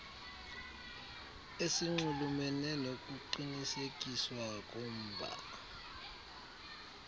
esinxulumene nokuqinisekiswa komba